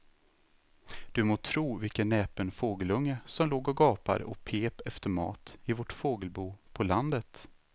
Du må tro vilken näpen fågelunge som låg och gapade och pep efter mat i vårt fågelbo på landet.